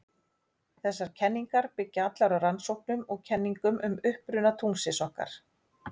Þessar kenningar byggja allar á rannsóknum og kenningum um uppruna tunglsins okkar.